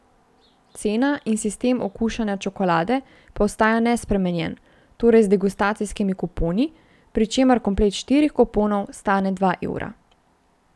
Cena in sistem okušanja čokolade pa ostaja nespremenjen, torej z degustacijskimi kuponi, pri čemer komplet štirih kuponov stane dva evra.